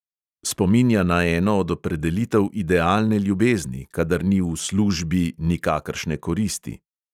Spominja na eno od opredelitev idealne ljubezni, kadar ni "v službi" nikakršne koristi.